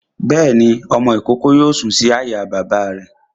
Bẹ́ẹ̀ni, ọmọ-ìkókó yóò sùn sórí àyà bàbá rẹ̀